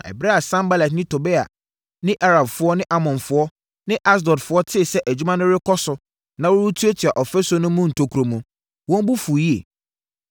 Na ɛberɛ a Sanbalat ne Tobia ne Arabfoɔ ne Amonfoɔ ne Asdodfoɔ tee sɛ adwuma no rekɔ so na wɔretuatua ɔfasuo no mu ntokuro no, wɔn bo fuu yie.